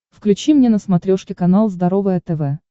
включи мне на смотрешке канал здоровое тв